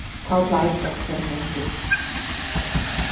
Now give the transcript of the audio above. Þá hlær doktorinn ungi.